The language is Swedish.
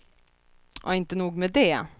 Inte nog med det.